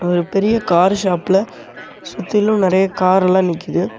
ஒரு பெரிய கார் ஷாப்ல சுத்திலு நெறைய காரெல்லா நிக்குது.